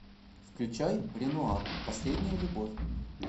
включай ренуар последняя любовь